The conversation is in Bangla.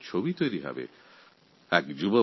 ভারতের ক্ষুদ্র সংস্করণের একটি ছবি এখানে দেখা যাবে